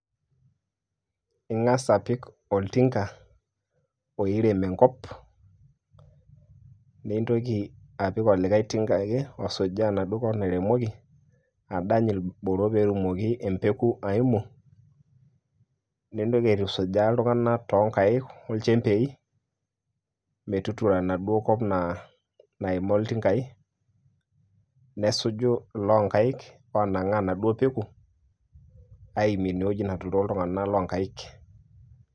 Ing'as apik oltinka oirem enkop. Nitoki apik olikae tinka ake osujaa enaduo kop nairemoki adany ilboro pe etumoki embeku aimu, nintoki aitusujaa iltung'anak to nkaik o nchembei metuturo enaduo kop naa naima iltinkai. Nesuju llo lonkaik onang'aa enaduo peku aimie inewueji natuturo iltung'anak lonkaik.